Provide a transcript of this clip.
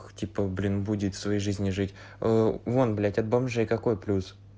типа блин будет своей жизни жить вон блять от бомжей какой плюс